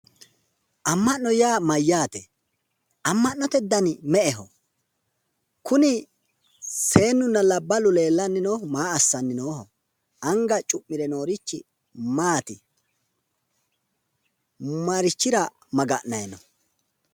Amma'no yaa mayyaate? Amma'note dani me"eho? kuni seennunna labballu leellanni noohu maa assanni nooho? anga co'mire noorichi maati? Marichira maga'nanni nooho?